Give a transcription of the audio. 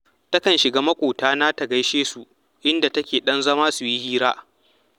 Ta kan shiga maƙotana ta gaishe su, inda take ɗan zama su yi hira